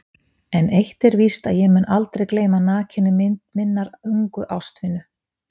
En eitt er víst að ég mun aldrei gleyma nakinni mynd minnar ungu ástvinu.